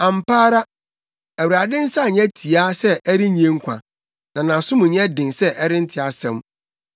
Ampa ara Awurade nsa nyɛ tiaa sɛ ɛrennye nkwa, na nʼasom nyɛ den sɛ ɛrente asɛm.